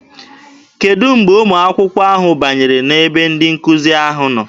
Kedụ mgbe ụmụ akwụkwọ ahụ banyere n'ebe ndị nkụzi na-anọ?